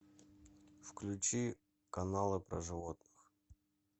включи каналы про животных